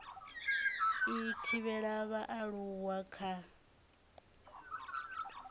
u thivhela vhaaluwa kha u